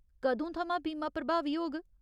कदूं थमां बीमा प्रभावी होग?